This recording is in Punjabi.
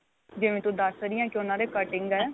ਜਿਵੇਂ ਤੂੰ ਦੱਸ ਰਹੀ ਏ ਕੇ ਉਨ੍ਹਾਂ ਦੇ ਕਟਿੰਗ ਏ